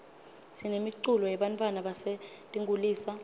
sinemiculo yebantfwana basetinkulisa